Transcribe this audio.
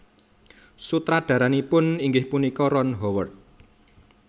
Sutradaranipun inggih punika Ron Howard